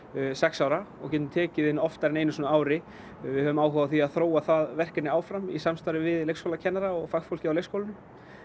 sex ára og getum tekið inn oftar á ári við höfum áhuga á því að þróa það verkefni áfram í samstarfi við leikskólakennara og fagfólkið á leikskólum